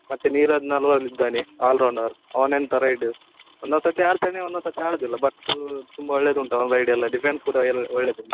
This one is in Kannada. ಮತ್ತೆ ನೀರಜ್ ನರ್ವಾಲ್ ಇದ್ದಾನೆ all rounder ಅವನೆಂತ ride , ಒಂದೊಂದು ಸತ್ತಿ ಆಡ್ತಾನೆ ಒಂದೊಂದು ಸತ್ತಿ ಆಡುದಿಲ್ಲ but ತುಂಬ ಒಳ್ಳೆದುಂಟು ಅವನ್ ride ಎಲ್ಲ defense ಕೂಡಾ ಒಳ್ಳೆದುಂಟು.